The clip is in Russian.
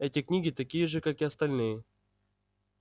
эти книги такие же как и остальные